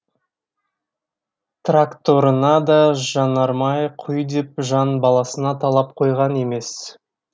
тракторына да жанармай құй деп жан баласына талап қойған емес